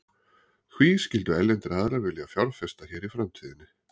Hví skyldu erlendir aðilar vilja fjárfesta hér í framtíðinni?